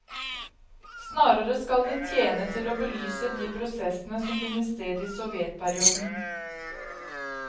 Snarere skal det tjene til å belyse de prosessene som finner sted i sovjetperioden.